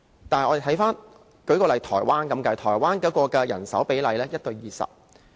但是，舉例來說，台灣的人手比例是 1：20。